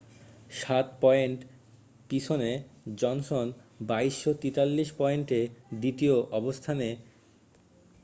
7 point পিছনে Johnson 2,243 পয়েন্টে দ্বিতীয় অবস্থানে